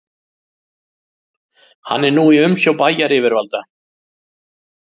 Hann er nú í umsjá bæjaryfirvalda